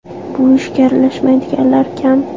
Bu ishga aralashmaydiganlar kam.